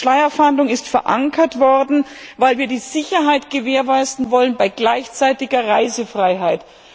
Die Schleierfahndung ist verankert worden, weil wir die Sicherheit gewährleisten wollen bei gleichzeitiger Reisefreiheit.